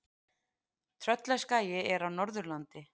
Tröllaskagi er á Norðurlandi.